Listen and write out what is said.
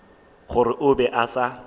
gore o be a sa